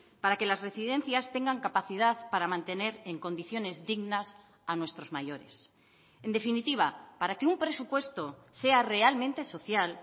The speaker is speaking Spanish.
para que las residencias tengan capacidad para mantener en condiciones dignas a nuestros mayores en definitiva para que un presupuesto sea realmente social